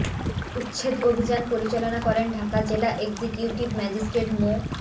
উচ্ছেদ অভিযান পরিচালনা করেন ঢাকা জেলা এক্সিকিউটিভ ম্যাজিস্ট্রেট মো